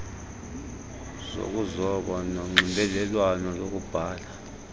zokuzoba nezonxibelelwano lokubhala